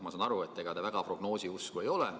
Ma saan aru, et ega te väga prognoosiusku ei ole.